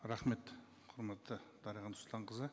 рахмет құрметті дариға нұрсұлтанқызы